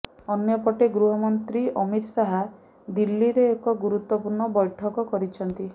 ଅନ୍ୟପଟେ ଗୃହମନ୍ତ୍ରୀ ଅମିତ ଶାହ ଦିଲ୍ଲୀରେ ଏକ ଗୁରୁତ୍ୱପୂର୍ଣ୍ଣ ବୈଠକ କରିଛନ୍ତି